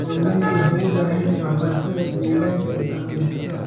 Kalluumaysigu wuxuu u baahan yahay waxbarashada deegaanka ee kalluumaysatada.